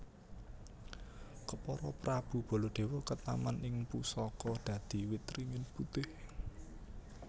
Kepara Prabu Baladewa ketaman ing pusaka dadi wit ringin putih